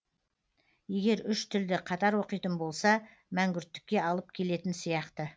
егер үш тілді қатар оқитын болса мәңгүрттікке алып келетін сияқты